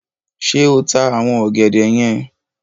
Ṣé ta àwọn ọ̀gẹ̀dẹ̀ yen?